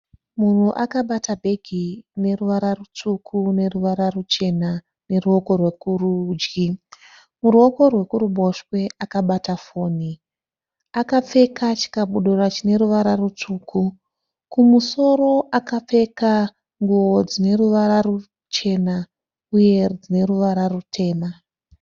Munhu akabata bhegi rineruvara rutsvuku neruvara ruchena neruoko rwekurudyi . Muruoko rwekuruboshwe akabata foni. Akapfeka chikabudura chine ruvara rutsvuku. Kumusoro akapfeka nguwo dzine ruvara ruchena uye dzine ruvara rutema.